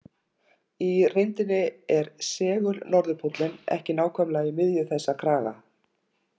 Í reyndinni er segul-norðurpóllinn ekki nákvæmlega í miðju þessa kraga.